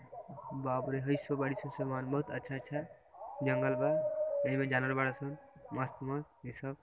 बाप रे है सब बड़ी सा सामान बहुत अच्छा -अच्छा जंगल बा एहिमे जानवर बरा सन मस्त मस्त इसब |